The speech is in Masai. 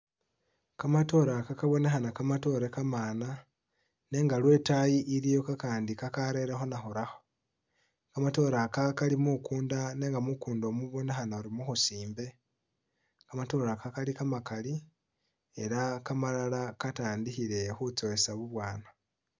Kamatoore aka kabonekhana kamatoore kamana nenga lwetayi iliyo kakandi kakarerekho nakhurakho kamatoore aka Kali mukunda nenga mukunda mubonekhana musimbe kamatoore aka kamakali elah kamalala katandiikhile khutsowesa bubwana